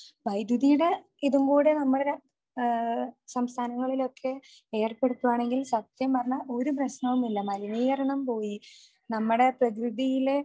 വൈദ്യുതിയുടെ ഇതും കൂടെ നമ്മുടെ ...സംസ്ഥാനങ്ങളിലൊക്കെ ഏർപ്പെടുത്തുവാനെങ്കിൽ സത്യം പറഞ്ഞാൽ ഒരു പ്രശ്നവുമില്ല. മലിനീകരണം പോയി നമ്മുടെ പ്രകൃതിയിലെ